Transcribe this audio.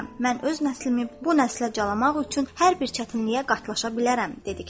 Mən öz nəslimi bu nəslə calamaq üçün hər bir çətinliyə qatlaşa bilərəm.